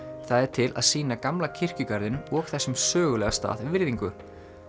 það er til að sýna gamla kirkjugarðinum og þessum sögulega stað virðingu